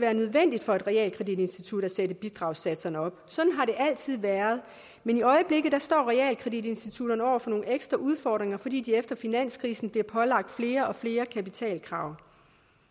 være nødvendigt for et realkreditinstitut at sætte bidragssatserne op sådan har det altid været men i øjeblikket står realkreditinstitutterne over for nogle ekstra udfordringer fordi de efter finanskrisen bliver pålagt flere og flere kapitalkrav